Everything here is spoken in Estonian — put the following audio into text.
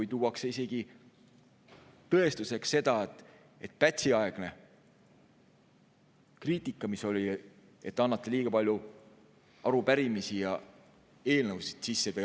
Ja kui tuuakse isegi tõestuseks seda, et Pätsi-aegne kriitika, mis oli, et antakse sisse liiga palju arupärimisi ja eelnõusid.